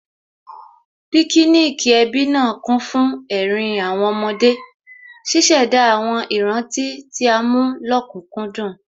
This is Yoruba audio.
Píkíníìkì ẹbí náà kún fún ẹ̀rín àwọn ọmọdé, ṣíṣẹ̀dá àwọn ìrántí tí a mú lókùkúndùn